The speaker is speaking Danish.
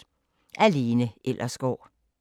Af Lena Ellersgaard